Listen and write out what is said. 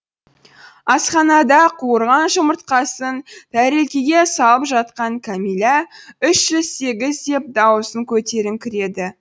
асханада қуырған жұмыртқасын тәрелкеге салып жатқан кәмилә үш жүз сегіз деп дауысын көтеріңкіреді